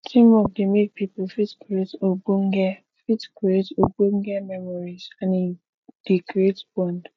teamwork dey make pipo fit create ogbonge fit create ogbonge memories and e dey create bond